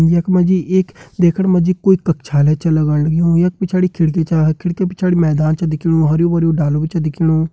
यख मा जी एक देखण मा जी कोई कक्षाआलय छ लगण लग्युं यख पिछाड़ी खिड़की छ खिड़की पिछाड़ी मैदान छ दिखेणु हर्युं भर्युं डालू भी छ दिखेणु।